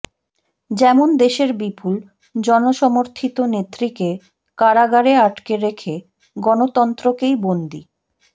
যেমন দেশের বিপুল জনসমর্থিত নেত্রীকে কারাগারে আটকে রেখে গণতন্ত্রকেই বন্দি